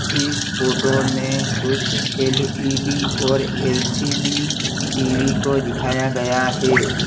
इस फोटो में कुछ एल_इ_डी और एल_सी_डी टी_वी को दिखाया गया है।